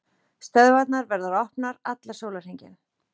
Stöðvarnar verða opnar allan sólarhringinn